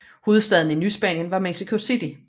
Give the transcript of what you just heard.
Hovedstaden i Nyspanien var Mexico City